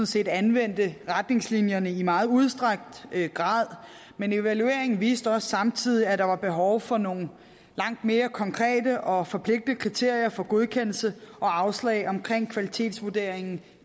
set anvendte retningslinjerne i meget udstrakt grad men evalueringen viste også samtidig at der var behov for nogle langt mere konkrete og forpligtende kriterier for godkendelse og afslag omkring kvalitetsvurderingen